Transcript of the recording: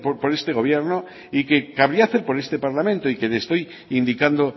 por este gobierno y que cabría hacer por este parlamento y que le estoy indicando